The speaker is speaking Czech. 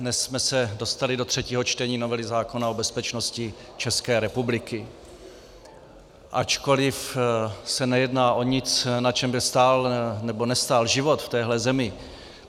Dnes jsme se dostali do třetího čtení novely zákona o bezpečnosti České republiky, ačkoliv se nejedná o nic, na čem by stál nebo nestál život v téhle zemi.